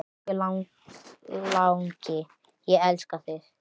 Elsku langi, ég elska þig.